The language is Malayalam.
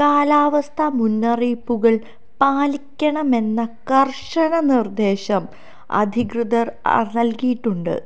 കാലാവസ്ഥ മുന്നറിയിപ്പുകള് പാലിക്കണമെന്ന കര്ശന നിര്ദേശം അധികൃതര് നല്കിയിട്ടുണ്ട്